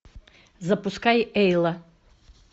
запускай эйла